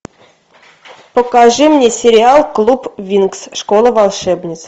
покажи мне сериал клуб винкс школа волшебниц